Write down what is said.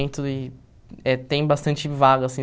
E eh tem bastante vaga, assim.